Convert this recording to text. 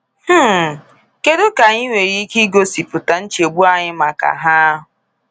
um Kedu ka anyị nwere ike igosipụta nchegbu anyị maka ha?